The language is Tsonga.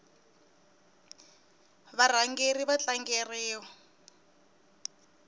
varhangeri va tlangeriwa